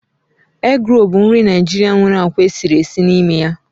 Egrolu bụ nri Naijiria nwere akwa esiri esi n'ime ya